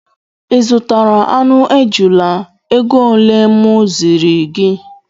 I zụtara aṅụ ejula égo ole mụ ziri gị?